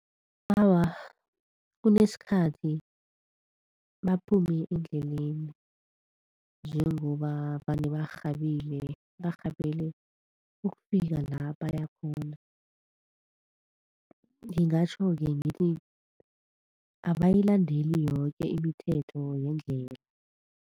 Awa, kunesikhathi baphume endleleni njengoba vane barhabile, barhabele ukufika la bayakhona, ngingatjho-ke ngithi abayilandeli yoke imithetho yendlela.